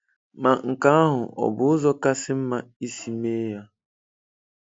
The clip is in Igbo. Ma nke ahụ ọ̀ bụ ụzọ kasị mma isi mee ya?